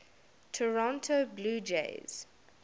toronto blue jays